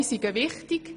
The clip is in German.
Alle sind wichtig.